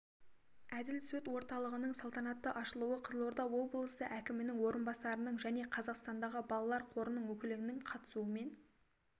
әділ сот орталығының салтанатты ашылуы қызылорда облысы әкімінің орынбасарының және қазақстандағы балалар қорының өкілінің қатысуымен